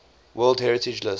world heritage list